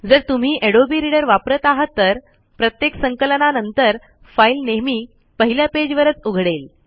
जर तुम्ही adobe reader वापरत आहात तर प्रत्येक संकलना नंतर फाईल नेहेमी पहिल्या पेज वरच उघडेल